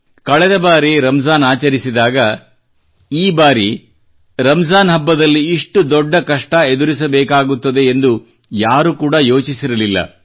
ಕಳೆದ ಬಾರಿ ರಂಜಾನ್ ಆಚರಿಸಿದಾಗ ಈ ಬಾರಿ ರಂಜಾನ್ ಸಮಯದಲ್ಲಿ ಇಷ್ಟು ದೊಡ್ಡ ಕಷ್ಟ ಎಂದುರಿಸಬೇಕಾಗುತ್ತದೆ ಎಂದು ಯಾರೂ ಕೂಡಾ ಯೋಚಿಸಿರಲಿಲ್ಲ